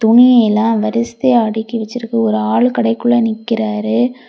துணியெல்லா வரிசையா அடுக்கி வச்சிருக்கு ஒரு ஆளு கடைக்குள்ள நிக்கிறாரு.